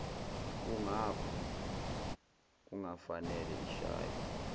kungakho kungafanele ishaywe